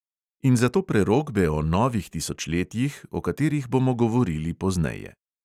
In zato prerokbe o novih tisočletjih, o katerih bomo govorili pozneje.